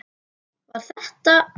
Var þetta.?